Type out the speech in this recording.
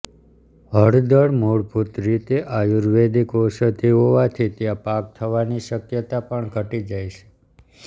હળદળ મૂળભૂત રીતે આયુર્વેદિક ઔષધી હોવાથી ત્યાં પાક થવાની શક્યતા પણ ઘણી ઘટી જાય છે